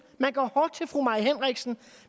man går hårdt til fru mai henriksen